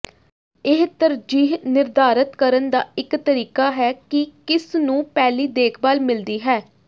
ਇਹ ਤਰਜੀਹ ਨਿਰਧਾਰਤ ਕਰਨ ਦਾ ਇਕ ਤਰੀਕਾ ਹੈ ਕਿ ਕਿਸ ਨੂੰ ਪਹਿਲੀ ਦੇਖਭਾਲ ਮਿਲਦੀ ਹੈ